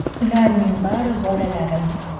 “Ularning bari bolalarim.